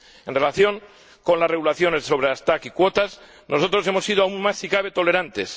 En relación con las regulaciones sobre los TAC y las cuotas, nosotros hemos sido aún más, si cabe, tolerantes.